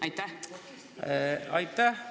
Aitäh!